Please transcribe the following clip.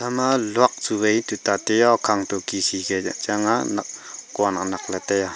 ama luak chuvai tuta tai ah okhang tu khi khi ka che chang ah nak kua nak nak ley tai ah.